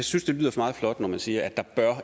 synes det lyder meget flot når man siger at der